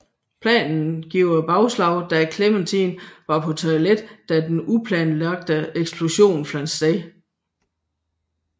Planen giver bagslag da Clemente var på toilet da den uplanlagte eksplosion fandt sted